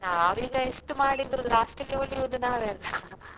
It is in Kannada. ನಾವು ಈಗ ಎಷ್ಟು ಮಾಡಿದ್ರು last ಇಗೆ ಉಳಿಯುದು ನಾವೇ ಅಲ್ಲ .